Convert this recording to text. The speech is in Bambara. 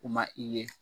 U ma i ye